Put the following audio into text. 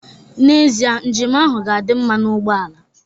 N'ezie, njem ahụ ga-adị mma na ugbo ala